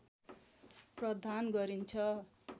प्रधान गरिन्छ